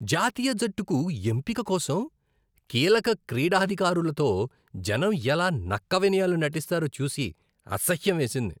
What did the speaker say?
జాతీయ జట్టుకు ఎంపిక కోసం కీలక క్రీడాధికారులతో జనం ఎలా నక్క వినయాలు నటిస్తారో చూసి అసహ్యం వేసింది.